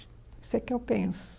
Isso é o que eu penso.